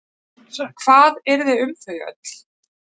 Hvað yrði um þau öll?